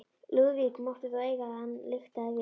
Lúðvík mátti þó eiga það að hann lyktaði vel.